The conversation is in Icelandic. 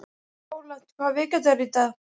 Rólant, hvaða vikudagur er í dag?